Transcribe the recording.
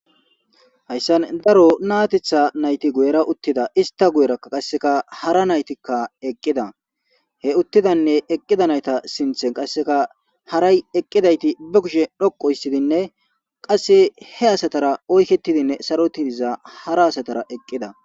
hayssan daro naatetha nayti guyera uttida ista guyerakka qasseka hara naytikka eqqida he uttidanne eqqida nayta sinthen qasseka haray eqqidayti ba kushe dhoqo issidinne qasse he asatara oykketidinne saroti diza hara asatara eqqida